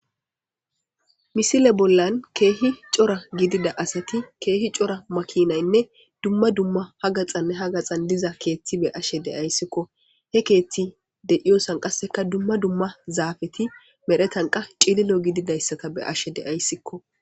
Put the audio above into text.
Misile bollan keehi cora gidida asati keehi cora makinaynne dumma dumma hagaxanne ha gaxan diza keethti be ashe deyayssikko he keethti deiyosan qasseka dumma dumma zaafeti medhetanqa cililo gididayssata be ashe deayssikko.